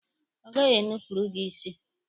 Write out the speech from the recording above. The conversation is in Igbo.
Ọ gaghị enupurụ gị isi.